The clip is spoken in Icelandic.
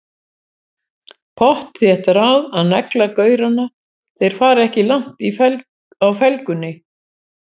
Pottþétt ráð til að negla gaurana, þeir fara ekki langt á felgunni!